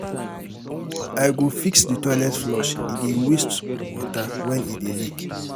I go fix di toilet flush, e dey waste water wen e dey leak.